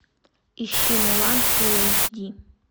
ищи мулан фулл эйч ди